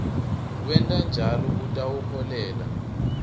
kwenta njalo kutawuholela